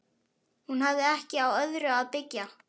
Hún hafði ekki á öðru að byggja.